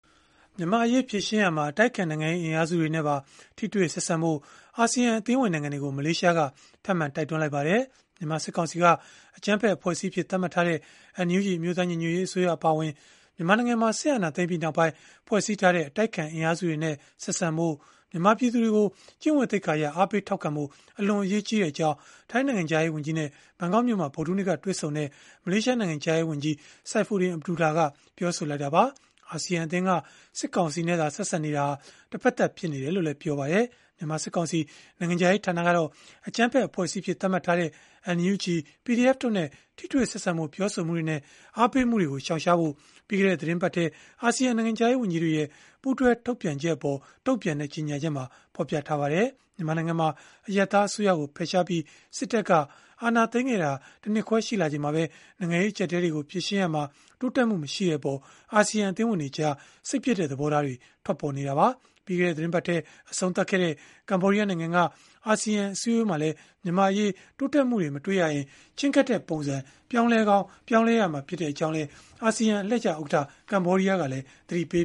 မြန်မာ့အရေး ဖြေရှင်းရာမှာ အတိုက်အခံ နိုင်ငံရေး အင်အားစုတွေနဲ့ပါ ထိတွေ့ဆက်ဆံဖို့ အာဆီယံ အသင်းဝင်နိုင်ငံတွေကို မလေးရှားက ထပ်မံတိုက်တွန်းလိုက်ပါတယ်။ မြန်မာစစ်ကောင်စီက အကြမ်းဖက် အဖွဲ့အစည်းအဖြစ် သတ်မှတ်ထားတဲ့ NUG အမျိုးသား ညီညွတ်ရေးအစိုးရ အပါအဝင် မြန်မာနိုင်ငံမှာ စစ်အာဏာသိမ်းပြီးနောက်ပိုင်း ဖွဲ့စည်းထားတဲ့ အတိုက်အခံ အင်အားစုတွေနဲ့ ဆက်ဆံဖို့၊ မြန်မာပြည်သူတွေကို ကျင့်ဝတ်သိက္ခာအရ အားပေးထောက်ခံဖို့ အလွန်အရေးကြီးကြောင်း ထိုင်းနိုင်ငံခြားရေး ဝန်ကြီးနဲ့ ဘန်ကောက်မြို့မှာ ဗုဒ္ဓဟူးနေ့က တွေ့ဆုံခဲ့တဲ့ မလေးရှားနိုင်ငံခြားရေးဝန်ကြီး Saifuiddun Abdullah ကပြောဆိုလိုက်တာပါ။ အာဆီယံအသင်းက စစ်ကောင်စီနဲ့သာ ဆက်ဆံနေတာဟာ တဖက်သတ်ဖြစ်နေတယ်လို့လည်း ပြောပါတယ်။ မြန်မာစစ်ကောင်စီ နိုင်ငံခြားရေးဌာနကတော့ အကြမ်းဖက်အဖွဲ့အစည်းအဖြစ် သတ်မှတ်ထားတဲ့ NUG, PDF တို့နဲ့ ထိတွေ့ဆက်ဆံဖို့ ပြောဆိုမှုတွေနဲ့ အားပေးမှုတွေကို ရှောင်ရှားဖို့ ပြီးခဲ့တဲ့ သီတင်းပတ်ထဲ အာဆီယံနိုင်ငံခြားရေး ဝန်ကြီးတွေရဲ့ ပူးတွဲထုတ်ပြန်ချက်အပေါ် တုံ့ပြန်တဲ့ ကြေညာချက်မှာ ဖော်ပြခဲ့ပါတယ်။ မြန်မာနိုင်ငံမှာ အရပ်သား အစိုးရကို ဖယ်ရှားပြီး စစ်တပ်က အာဏာသိမ်းခဲ့တာ ၁ နှစ်ခွဲရှိလာချိန်မှာပဲ နိုင်ငံရေးအကျပ်အတည်းတွေကို ဖြေရှင်းရာမှာ တိုးတက်မှု မရှိတဲ့အပေါ် အာဆီယံ အသင်းဝင်တွေကြား စိတ်ပျက်တဲ့ သဘောထားတွေ ထွက်ပေါ်နေတာပါ။ ပြီးခဲ့တဲ့ သီတင်းပတ်ထဲ အဆုံးသတ်ခဲ့တဲ့ ကမ္ဘောဒီးယား နိုင်ငံက အာဆီယံ အစည်းအဝေးမှာလည်း မြန်မာ့အရေး တိုးတက်မှု မတွေ့ရရင် ချဉ်းကပ်တဲ့ပုံစံ ပြောင်းလဲကောင်း ပြောင်းလဲမှာ ဖြစ်ကြောင်းလည်း အာဆီယံ အလှည့်ကျ ဥက္ကဋ္ဌ ကမ္ဘောဒီးယားကလည်း သတိပေ